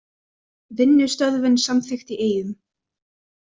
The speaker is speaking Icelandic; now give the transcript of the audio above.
Vinnustöðvun samþykkt í Eyjum